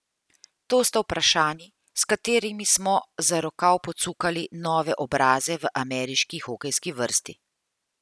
To sta vprašanji, s katerima smo za rokav pocukali nove obraze v ameriški hokejski vrsti.